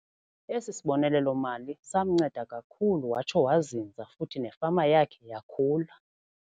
Esi sibonelelo-mali samnceda kakhulu watsho wazinza futhi nefama yakhe yakhula.